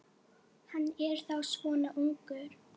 Hann er þá svona ungur.